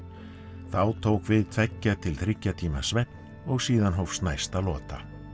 þá tók við tveggja til þriggja tíma svefn og síðan hófst næsta lota